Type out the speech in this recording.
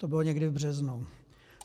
To bylo někdy v březnu.